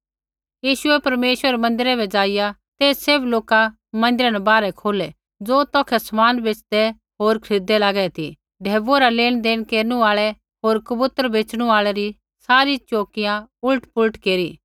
यीशुऐ परमेश्वरै रै मन्दिरा बै ज़ाइआ ते सैभ लोका मन्दिरा न बाहरै खोलै ज़ो तौखै समान बेच़दै होर खरीददै लागै ती ढैबुऐ रा लेनदेण केरनु आल़ै होर कबूतरा बेच़णू आल़ै री सारी चौकियाँ उलटपुलट केरी